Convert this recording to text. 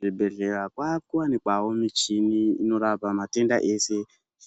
Zibhedhleya kwakuwanikwawo michini inorapa matenda ese.